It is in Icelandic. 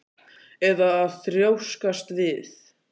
Eða að þrjóskast við?